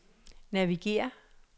navigér